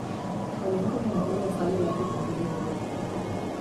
Kolenkovi ne bodo ostali le pri krompirjevi vodki.